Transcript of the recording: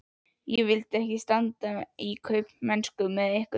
Ég vildi ekki standa í kaupmennsku með ykkur!